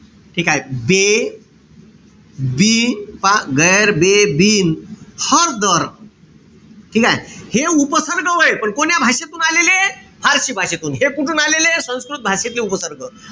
ठीकेय? बे, बिन पहा. गैर, बे, बिन, हर, दर. ठीकेय? हे उपसर्ग ए पण कोण्या भाषेतून आलेलेय? फारशी भाषेतून. हे कुठून आलेलेय? संस्कृत भाषेतील उपसर्ग.